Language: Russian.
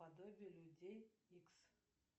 подобие людей икс